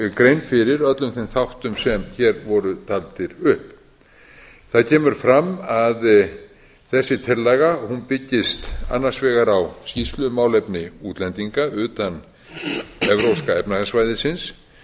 gerð grein fyrir öllum þeim þáttum semhér voru taldir upp það kemur fram að þessi tillaga byggist annars vegar á skýrslu um málefni útlendinga utan evrópska efnahagssvæðisins